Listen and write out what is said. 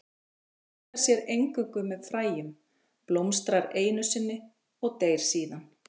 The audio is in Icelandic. Hún fjölgar sér eingöngu með fræjum, blómstrar einu sinni og deyr síðan.